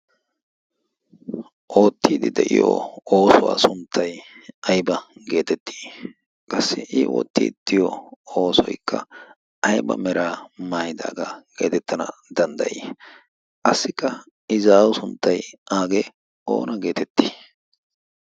oottiidi de'iyo oosuwaa sunttay ayba geetettii qassi i oottii tiyo oosoykka ayba mera maaydaagaa geetettana danddayii qassikka i zaau sunttay aagee oona geetettii ?